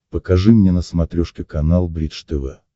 покажи мне на смотрешке канал бридж тв